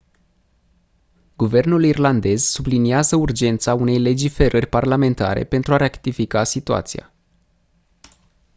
guvernul irlandez subliniază urgența unei legiferări parlamentare pentru a rectifica situația